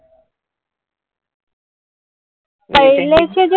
पहिलेचे जे movie